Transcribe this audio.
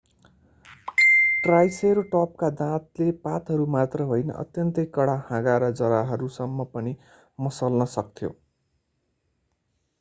ट्राइसेरोटपका दाँतले पातहरू मात्र होइन अत्यन्तै कडा हाँगा र जराहरूसम्म पनि मसल्न सक्थ्यो